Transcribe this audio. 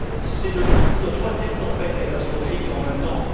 C'est la troisième tempête catastrophique en vingt ans.